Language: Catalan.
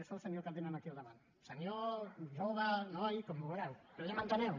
és el senyor que tenen aquí al davant un senyor jove noi com vulgueu però ja m’enteneu